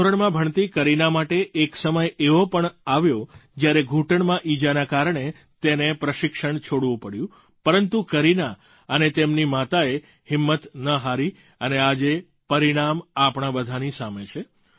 દસમા ધોરણમાં ભણતી કરીના માટે એક સમય એવો પણ આવ્યો જ્યારે ઘૂંટણમાં ઈજાના કારણે તેને પ્રશિક્ષણ છોડવું પડ્યું પરંતુ કરીના અને તેમની માતાએ હિંમત ન હારી અને આજે પરિણામ આપણાં બધાંની સામે છે